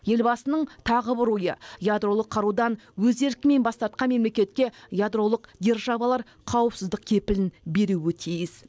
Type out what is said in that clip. елбасының тағы бір ойы ядролық қарудан өз еркімен бас тартқан мемлекетке ядролық державалар қауіпсіздік кепілін беруі тиіс